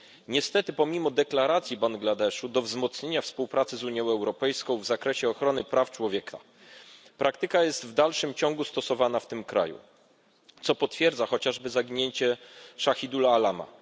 Niestety, pomimo deklaracji Bangladeszu o wzmocnieniu współpracy z Unią Europejską w zakresie ochrony praw człowieka praktyka ta jest w dalszym ciągu stosowana w tym kraju, co potwierdza chociażby zaginięcie Szahidula Alama.